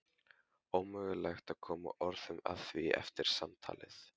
Ómögulegt að koma orðum að því eftir samtalið.